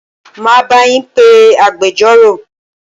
Máa bá yín pé agbẹjọ́rò.